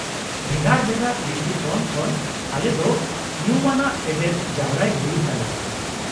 -ᱵᱷᱮᱜᱟᱨ ᱵᱷᱮᱜᱟᱨ ᱫᱨᱤᱥᱴᱤᱠᱳᱱ ᱠᱷᱚᱱ ᱟᱞᱮ ᱫᱚ ᱧᱩᱢᱟᱱᱟᱜ ᱛᱮᱛᱮᱫ ᱡᱟᱨᱣᱟᱭ ᱦᱩᱭᱩᱜ ᱛᱟᱞᱮᱭᱟ ᱾